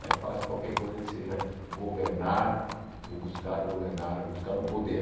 Me afasto de qualquer coisa que seja governar, ou buscar governar, ou buscar o poder.